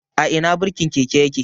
A Ina birkin keke yake?